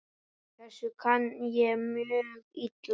Þessu kann ég mjög illa.